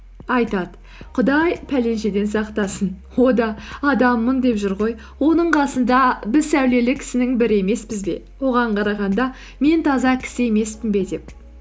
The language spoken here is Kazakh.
айтады құдай пәленшеден сақтасын о да адаммын деп жүр ғой оның қасында біз сәулелі кісінің бірі емеспіз бе оған қарағанда мен таза кісі емеспін бе деп